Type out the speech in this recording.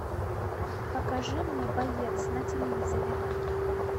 покажи мне боец на телевизоре